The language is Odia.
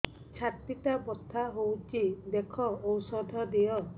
ଛାତି ଟା ବଥା ହଉଚି ଦେଖ ଔଷଧ ଦିଅ